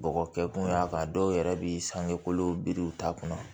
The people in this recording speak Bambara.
Bɔgɔ kɛ kun y'a kan dɔw yɛrɛ bi sange kolon biri u t'a kɔnɔ